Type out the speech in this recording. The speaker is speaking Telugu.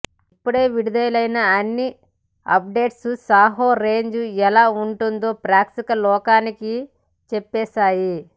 ఇప్పటికే విడుదలైన అన్ని అప్డేట్స్ సాహో రేంజ్ ఎలా ఉంటుందో ప్రేక్షక లోకానికి చెప్పేశాయి